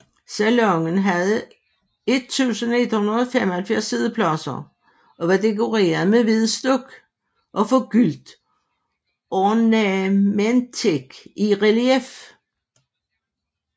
Salonen havde 1175 siddepladser og var dekoreret med hvid stuk og forgyldt ornamentik i relief